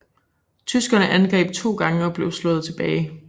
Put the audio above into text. Tyskerne angreb to gange og blev slået tilbage